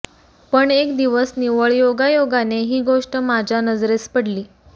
पण एक दिवस निव्वळ योगायोगाने ही गोष्ट माझ्या नजरेस पडली